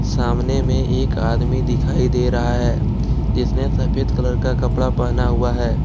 सामने में एक आदमी दिखाई दे रहा है जिसने सफेद कलर का कपड़ा पहना हुआ है।